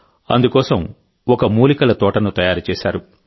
అందుకోసం ఒక మూలికల తోటను తయారు చేశారు